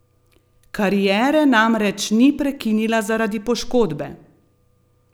Kariere namreč ni prekinila zaradi poškodbe!